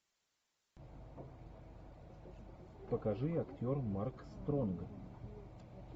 покажи актер марк стронг